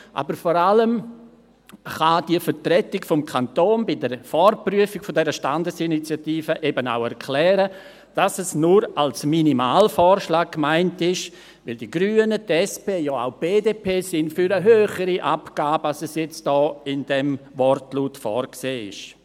Aber vor allem kann die Vertretung des Kantons bei der Vorprüfung der Standesinitiative auch erklären, dass es nur als Minimalvorschlag gemeint ist, weil die Grünen, die SP und auch die BDP für eine höhere Abgabe sind, als sie jetzt im Wortlaut vorgesehen ist.